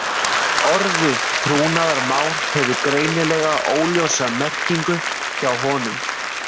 Orðið trúnaðarmál hefur greinilega óljósa merkingu hjá honum.